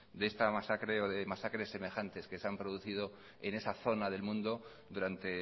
de esta masacre o de masacres semejantes que se han producido en esa zona del mundo durante